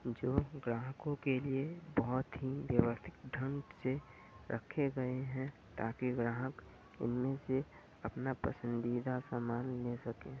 जो ग्राहकों के लिए बहोत ही व्यवस्थित ढंग से रखे गए हैं ताकि ग्राहक उनमें से अपना पसंदीदा सामान ले सकें।